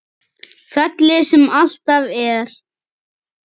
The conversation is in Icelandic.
Fjallið sem alltaf er.